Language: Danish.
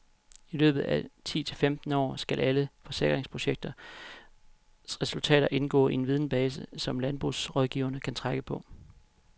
I løbet af ti til femten år skal alle forkningsprojektets resultater indgå i en videnbase, som landbrugsrådgiverne kan trække på.